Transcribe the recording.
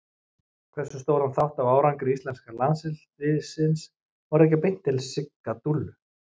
Hversu stóran þátt af árangri íslenska landsliðsins má rekja beint til Sigga Dúllu?